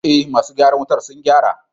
eh masu gyaran wutan sun gyara.